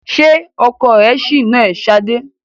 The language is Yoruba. Ṣé ọkọ rẹ ṣì ń nà ẹ́ Sadé?